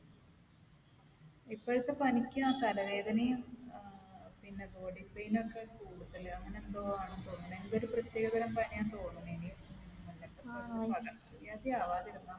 ഇപ്പോഴത്തെ പനിക്ക് തല വേദനയും ഏർ പിന്നെ body pain ഒക്കെ കൂടുതലാണ്. അങ്ങനെ എന്തോ ആണെന്നാ തോന്നുന്നേ. എന്തോ ഒരു പ്രത്യേക തരം പനിയാണെന്ന് തോന്നുന്നു. പകർച്ചവ്യാധി ആകാതെ ഇരുന്നാൽ മതി.